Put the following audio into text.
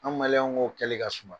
An k'o kɛli ka suma.